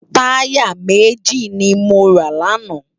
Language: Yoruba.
Tàyá méji ni mó rá làná